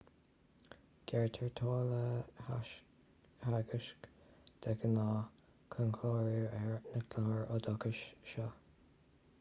gearrtar táille theagaisc de ghnáth chun clárú ar na cláir oideachais seo